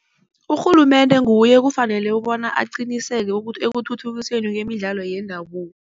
Urhulumende nguye ekufanele bona aqiniseke ekuthuthukisweni kwemidlalo yendabuko.